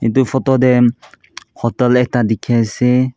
edu photo tae hotel ekta dikhiase.